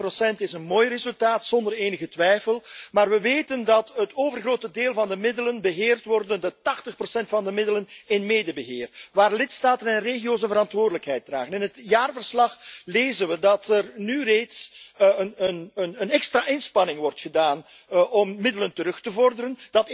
3,1 procent is een mooi resultaat, zonder enige twijfel, maar we weten dat het overgrote deel van de middelen beheerd wordt 80 procent van de middelen in medebeheer, waar de lidstaten en regio's de verantwoordelijkheid dragen. In het jaarverslag lezen we dat er nu reeds een extra inspanning wordt gedaan om middelen terug te vorderen.